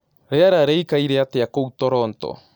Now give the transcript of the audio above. Rĩera rĩĩkaĩre atĩa kũũ toronto